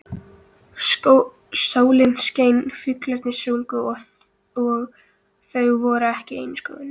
Sólin skein, fuglarnir sungu og þau voru ein í skóginum.